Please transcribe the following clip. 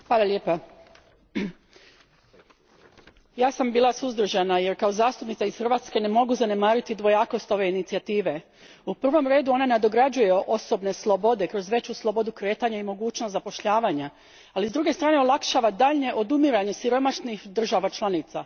Gospodine predsjedavajući, ja sam bila suzdržana jer kao zastupnica iż Hrvatske ne mogu zanemariti dvojakost ove inicijative. U prvom redu ona nadograđuje osobne slobode kroz veću slobodu kretanja i mogućnost zapošljavanja, ali s druge strane olakšava daljnje odumiranje siromašnih država članica.